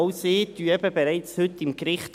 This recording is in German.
Auch sie amten eben bereits am Gericht.